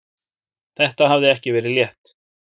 Þetta hafði ekki verið létt.